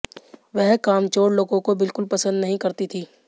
वह कामचोर लोगों को बिल्कुल पसंद नहीं करती थीं